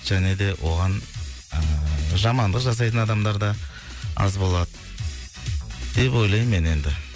және де оған ыыы жамандық жасайтын адамдар да аз болады деп ойлаймын мен енді